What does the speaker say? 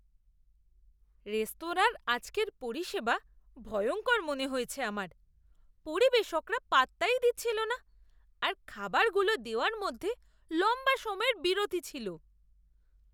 রেস্তোরাঁর আজকের পরিষেবা ভয়ঙ্কর মনে হয়েছে আমার। পরিবেশকরা পাত্তাই দিচ্ছিল না, আর খাবারগুলো দেওয়ার মধ্যে লম্বা সময়ের বিরতি ছিল।